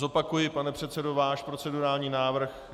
Zopakuji, pane předsedo, váš procedurální návrh.